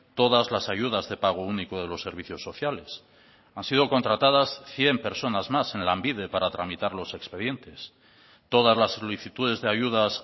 todas las ayudas de pago único de los servicios sociales han sido contratadas cien personas más en lanbide para tramitar los expedientes todas las solicitudes de ayudas